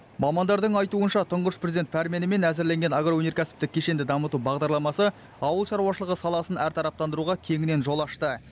мамандардың айтуынша тұңғыш президент пәрменімен әзірленген агроөнеркәсіптік кешенді дамыту бағдарламасы ауыл шаруашылығы саласын әртараптандыруға кеңінен жол ашты